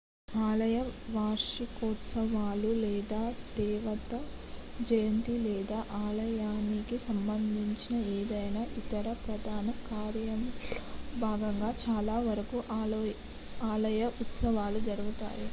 ఆలయ వార్షికోత్సవాలు లేదా దేవత జయంతి లేదా ఆలయానికి సంబంధించిన ఏదైనా ఇతర ప్రధాన కార్యక్రమంలో భాగంగా చాలా వరకు ఆలయ ఉత్సవాలు జరుగుతాయి